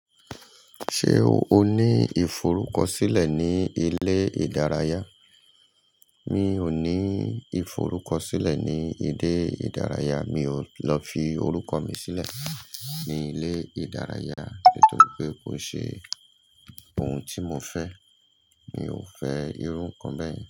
Ṣé o ní iforukosile ní ilé ìdárayá? Mi ò ní iforukosile ní ilé ìdárayá, mi ò lọ fi orúkọ mi sílẹ̀ ní ilé ìdárayá nítorí pé kò ṣe ohun tí mo fẹ́. Mi ò fẹ́ irú nǹkan bẹ́ẹ̀